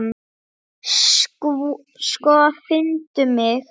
Sko, finndu mig.